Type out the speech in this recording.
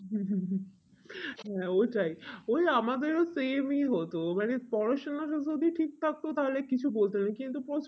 হ্যাঁ ওটাই ওই আমাদের same ই হতো মানে পড়াশোনা যদিও ঠিক থাকতো তাহলে কিছু বলতো না কিন্তু প্রচুর